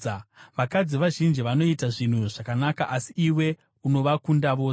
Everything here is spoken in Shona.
“Vakadzi vazhinji vanoita zvinhu zvakanaka, asi iwe unovakunda vose.”